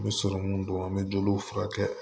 N bɛ sɔrɔmu don an bɛ joliw furakɛ